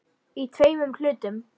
Í tveimur hlutum.